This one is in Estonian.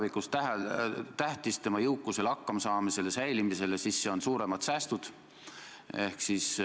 Pikendust küsiti küll viieks aastaks, aga nii, nagu me eile ka rääkisime, ei tähenda see kindlasti seda, et puuetega inimesi puudutav küsimus jääks viieks aastaks riiulisse.